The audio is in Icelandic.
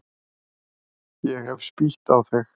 Ég hef spýtt á þig.